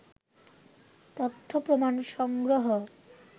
তথ্যপ্রমাণ সংগ্রহ